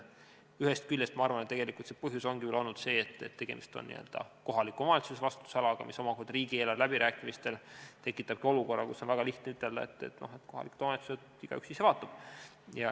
Ühest küljest ma arvan, et põhjus ongi ehk olnud see, et tegemist on kohaliku omavalitsuse vastutusalaga, mis omakorda riigieelarve läbirääkimistel tekitabki olukorra, kus on väga lihtne ütelda, et las kohalikest omavalitsustest igaüks ise vaatab.